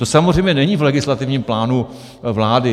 To samozřejmě není v legislativním plánu vlády.